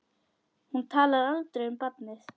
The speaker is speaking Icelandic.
Hún talar aldrei um barnið.